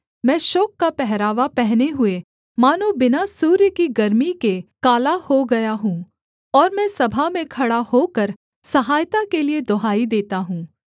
मैं शोक का पहरावा पहने हुए मानो बिना सूर्य की गर्मी के काला हो गया हूँ और मैं सभा में खड़ा होकर सहायता के लिये दुहाई देता हूँ